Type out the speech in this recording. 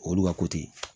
Olu ka